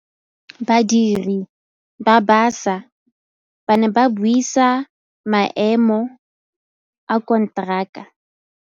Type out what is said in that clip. Badiri ba baša ba ne ba buisa maêmô a konteraka.